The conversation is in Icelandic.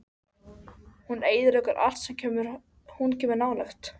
Hún eyðileggur allt sem hún kemur nálægt.